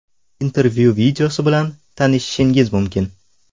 Intervyu videosi bilan tanishishingiz mumkin.